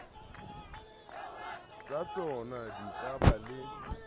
tsatsona di ka ba le